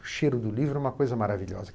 O cheiro do livro é uma coisa maravilhosa.